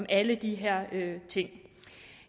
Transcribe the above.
alle de her ting